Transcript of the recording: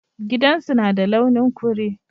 Gidan su na da launin kure.